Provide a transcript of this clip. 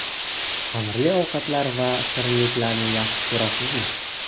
Xamirli ovqatlar va shirinliklarni yaxshi ko‘rasizmi?